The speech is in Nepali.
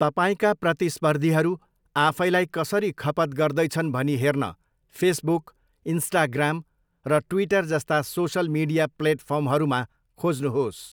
तपाईँका प्रतिस्पर्धीहरू आफैलाई कसरी खपत गर्दैछन् भनी हेर्न फेसबुक, इन्स्टाग्राम र ट्विटर जस्ता सोसल मिडिया प्लेटफर्महरूमा खोज्नुहोस्।